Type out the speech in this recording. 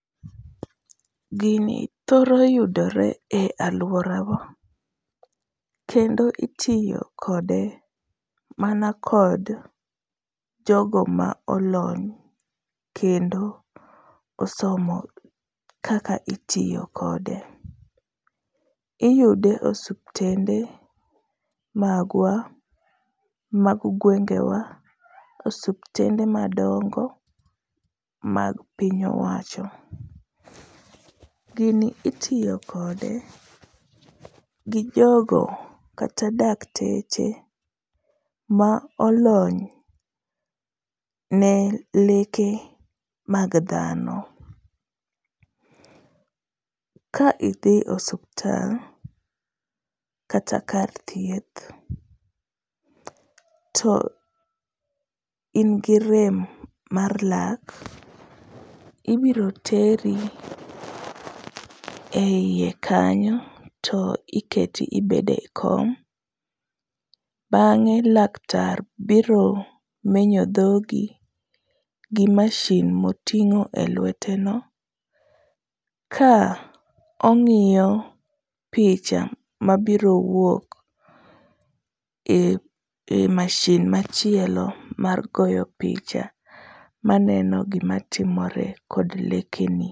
Gini thoro yudore e alworawa kendo itiyo kode mana kod jogo ma olony kendo osomo kaka itiyo kode, iyude osiptende magwa, mag gwengewa ,osuptende madongo mag piny owacho. Gini itiyo kode gi jogo kata dakteche ma olony ne leke mag dhano, ka idhi osuptal, kata kar thieth to in gi rem mar lak, ibiro teri e iye kanyo to iketi ibedo e kom, bang'e laktar biro menyo dhogi gi mashin moting'o elweteno ka ong'iyo picha mabiro wuok e mashin machielo mar goyo picha, maneno gimatimore kod lekeni.